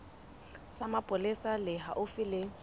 sa mapolesa se haufi le